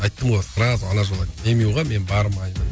айттым ғой сразу ана жолы айттым демюға мен бармаймын